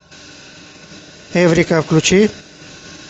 эврика включи